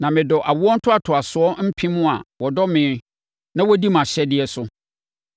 Na medɔ awoɔ ntoatoasoɔ mpem a wɔdɔ me na wɔdi mʼahyɛdeɛ so.